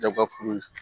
Daba furu